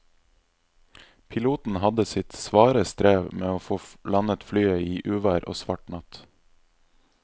Piloten hadde sitt svare strev med å få landet flyet i uvær og svart natt.